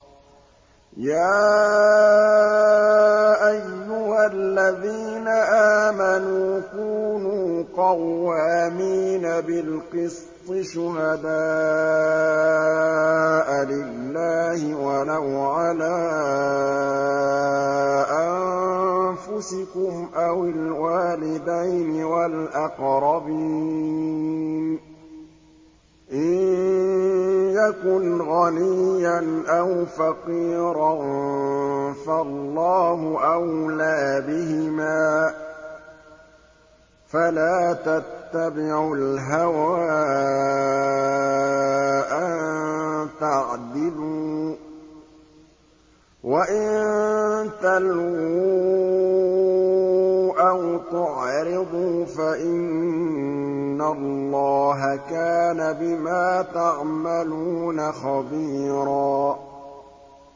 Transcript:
۞ يَا أَيُّهَا الَّذِينَ آمَنُوا كُونُوا قَوَّامِينَ بِالْقِسْطِ شُهَدَاءَ لِلَّهِ وَلَوْ عَلَىٰ أَنفُسِكُمْ أَوِ الْوَالِدَيْنِ وَالْأَقْرَبِينَ ۚ إِن يَكُنْ غَنِيًّا أَوْ فَقِيرًا فَاللَّهُ أَوْلَىٰ بِهِمَا ۖ فَلَا تَتَّبِعُوا الْهَوَىٰ أَن تَعْدِلُوا ۚ وَإِن تَلْوُوا أَوْ تُعْرِضُوا فَإِنَّ اللَّهَ كَانَ بِمَا تَعْمَلُونَ خَبِيرًا